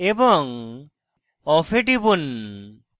off এ টিপুন